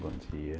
Bom dia.